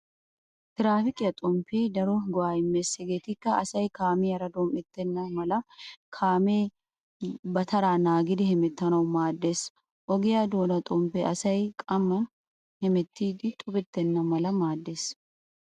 Traafikiya xomppee daro go'aa immees hegeetikka:-kaamee kaamiyaara dom"ettenna mala, kaamee ba taraa naagidi hemettanawu maaddees. Ogiyaa doona xomppee asay kamman hemettiiddi xubettenna mala maaddees.